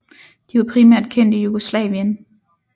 De var primært kendt i Jugoslavien